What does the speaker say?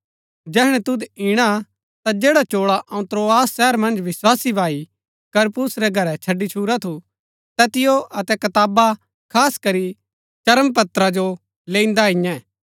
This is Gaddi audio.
जैहणै तुद इणा ता जैडा चोळा अऊँ त्रोआस शहर मन्ज विस्वासी भाई करपुस रै घरै छड़ी छूरा थू तैतिओ अतै कताबा खास करी चर्मपत्रा जो लैईन्दा अईयैं